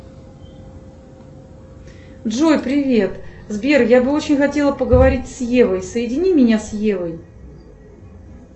джой привет сбер я бы очень хотела поговорить с евой соедини меня с евой